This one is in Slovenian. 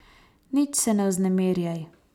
Nič se ne vznemirjaj!